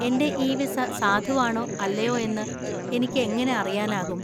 എന്‍റെ e visa സാധുവാണോ അല്ലയോ എന്ന് എനിക്ക് എങ്ങനെ അറിയാനാകും?